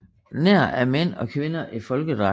Nær af mænd og kvinder i folkedragter